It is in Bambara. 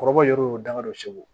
Kɔrɔbɔrɔ yɛrɛ y'o damadɔ cigu